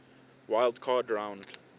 wild card round